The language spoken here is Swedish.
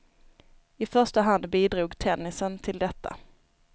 I första hand bidrog tennisen till detta.